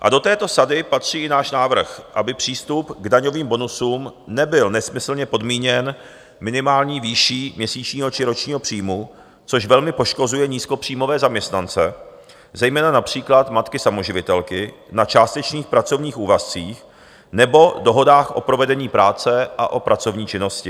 A do této sady patří i náš návrh, aby přístup k daňovým bonusům nebyl nesmyslně podmíněn minimální výší měsíčního či ročního příjmu, což velmi poškozuje nízkopříjmové zaměstnance, zejména například matky samoživitelky na částečných pracovních úvazcích nebo dohodách o provedení práce a o pracovní činnosti.